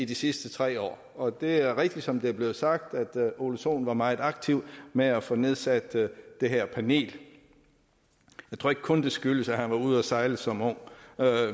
de sidste tre år og det er rigtigt som det er blevet sagt at ole sohn var meget aktiv med at få nedsat det her panel jeg tror ikke kun det skyldes at han var ude at sejle som ung